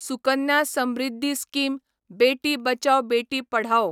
Sukanya Samriddhi scheme Beti Bachao Beti Padhao